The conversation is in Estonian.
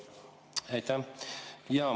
Aitäh!